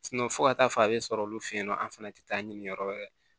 fo ka taa fɔ a bɛ sɔrɔ olu feyen nɔ an fana tɛ taa ɲini yɔrɔ wɛrɛ